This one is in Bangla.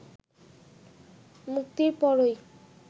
মুক্তির পরই